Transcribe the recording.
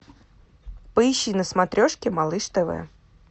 поищи на смотрешке малыш тв